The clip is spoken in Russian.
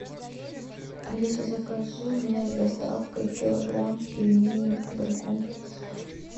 алиса закажи мне с доставкой килограмм пельменей агрокомплекс